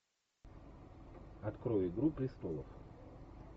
открой игру престолов